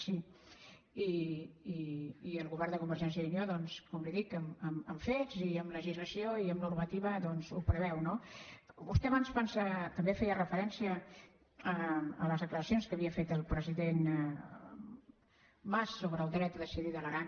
sí i el govern de convergència i unió doncs com li dic amb fets i amb legislació i amb normativa doncs ho preveu no vostè abans també feia referència a les declaracions que havia fet el president mas sobre el dret a decidir de l’aran